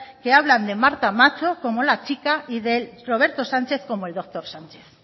que hablan de marta macho como la chica y de roberto sánchez como el doctor sánchez